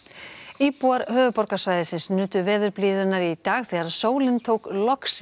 íbúar höfuðborgarsvæðisins nutu veðurblíðunnar í dag þegar sólin tók loks